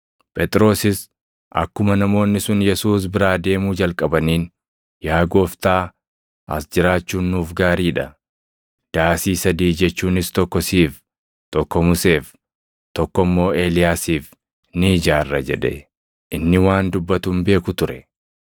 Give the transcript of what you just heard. Phexrosis akkuma namoonni sun Yesuus biraa deemuu jalqabaniin, “Yaa Gooftaa, as jiraachuun nuuf gaarii dha. Daasii sadii jechuunis tokko siif, tokko Museef, tokko immoo Eeliyaasiif ni ijaarra” jedhe. Inni waan dubbatu hin beeku ture.